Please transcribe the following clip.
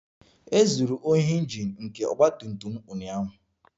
. E zuru ohi Injin nke ọgba tum tum m ụnyaahụ